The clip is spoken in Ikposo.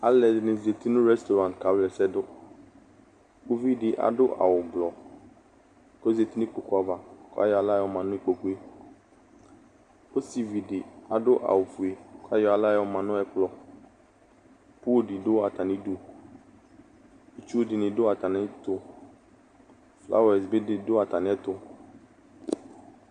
Alʋ ɛdini zati nʋ rɛstɔraŋti kawla ɛsɛ dʋ Uvi di adʋ awʋ ʋblʋɔ kʋ ozati nʋ ikpoku ava kʋ ayɔ aɣla yɔma nʋ ikpokʋ e Ɔsivi di adʋ awʋ fue kʋ ayɔ aɣla yɔma nʋ ɛkplɔ Polʋ di dʋ atami dʋ Itsʋ di ni dʋ atami ɛtʋ Flawɛsi di bi dʋ atami ɛtʋ